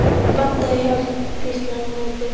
Vantar þig hjálp? hvíslaði hann á móti.